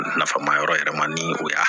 Nafa ma yɔrɔ yɛrɛ ma ni o y'a